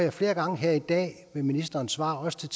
jeg flere gange her i dag ved ministerens svar også til